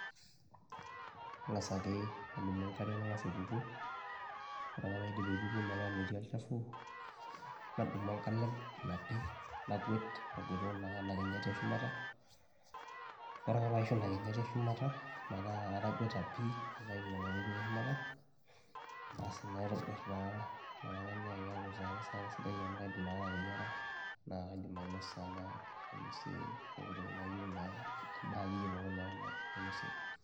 Ing'asa ake adumu enkare nang'asa aituku, ore ake paidip aituku metaa metii olchafu nadumu enkalem napi nagwet agwetu kuna ena kinyati e shumata. Ore ake paishu ina kinyati eshumata metaa atagweta pii naitayu nena tokitin e shumata, asi naitobir naa ina kata naake eeku sa inakata erishata sidai amu kaidim inakata ateyiara naa kaidim ainosa naa ainosie pooki toki nayeu naa endaa akeyie pooki naa nainosie ake.